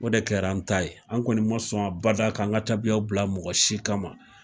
O de kɛra an ta ye. An kɔni ma sɔn abada ka an ka tabiya bila mɔgɔ si kama.